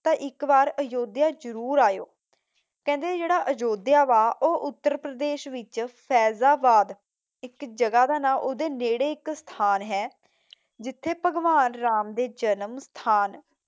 ਤਾਂ ਇੱਕ ਵਾਰ ਅਯੁੱਧਿਆ ਜਰੂਰ ਆਇਓ। ਕਹਿੰਦੇ ਜਿਹੜਾ ਅਯੁੱਧਿਆ ਵਾ ਉਹ ਉੱਤਰ ਪ੍ਰਦੇਸ਼ ਵਿਚ ਫੈਜ਼ਾਬਾਦ, ਇਕ ਜਗ੍ਹਾ ਦਾ ਨਾਮ, ਓਹਦੇ ਨੇੜੇ ਇਕ ਸਥਾਨ ਹੈ ਜਿਥੇ ਭਗਵਾਨ ਰਾਮ ਦੇ ਜਨਮ ਸਥਾਨ